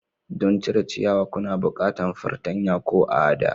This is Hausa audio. Don cire ciyawa kuna bukantan fartanya ko a'da.